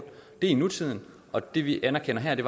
det er i nutiden og det vi anerkender her